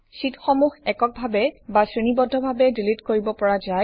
শ্বিটসমূহ একক ভাবে বা শ্ৰেণীবদ্ধ ভাবে ডিলিট কৰিব পৰা যায়